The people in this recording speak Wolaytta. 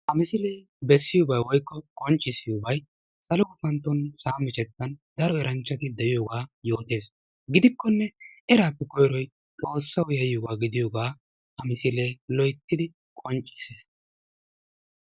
Ha misile besiyobay woykko qonccissiyobay salo gufantton sa'a miccetan daro eranchchati deiyoga besees. Gidikone erappe koyroy xoossawu yayiyoga gidiyoge ha misile qonccisses.